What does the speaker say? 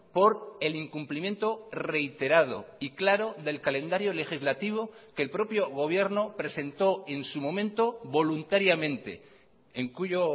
por el incumplimiento reiterado y claro del calendario legislativo que el propio gobierno presentó en su momento voluntariamente en cuyo